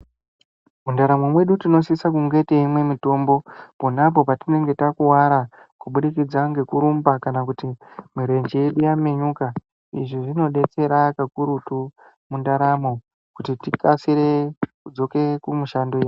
Mundaramo mwedu tinosise kunge teimwe mitombo ponapo patinenge takuwara kubudikidza ngekurumba kana kuti mirenje yedu yaminyuka. Izvi zvinodetsera pakurutu mundaramo kuti tikasire kudzoka kumishando yedu.